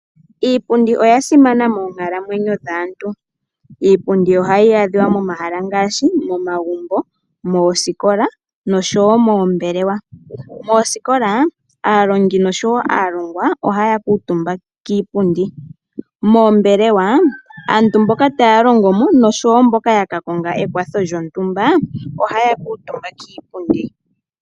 Iipundi oya simana moonkalamwenyo dhaantu. Iipundi ohayi adhika momahala ngaashi momagumbo, moosikola nosho woo moombelewa. Moosikola aalongi nosho woo alongwa ohaya kuutumba kiipundi mombelewa aantu mboka taya longomo nenge mboka yaka konga ekwatho lyontumba ohaya kuutumba kiipundi.